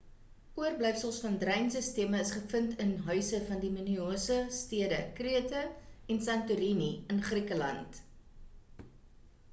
oorblyfsels van dreinsisteme is gevind in huise van die minoïese stede krete en santorini in griekeland